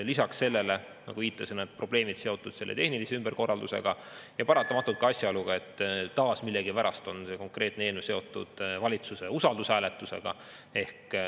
Lisaks sellele, nagu viitasin, on probleemid seotud tehniliste ümberkorraldustega ja paratamatult ka asjaoluga, et millegipärast on see konkreetne eelnõu taas seotud valitsuse usaldushääletusega.